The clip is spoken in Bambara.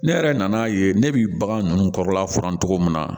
Ne yɛrɛ nan'a ye ne bi bagan ninnu kɔrɔla furan cogo min na